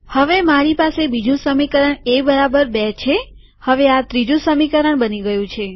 હવે મારી પાસે બીજું સમીકરણ એ બરાબર બી છેહવે આ ત્રીજું સમીકરણ બની ગયું છે